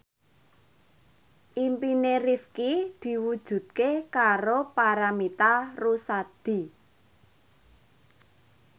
impine Rifqi diwujudke karo Paramitha Rusady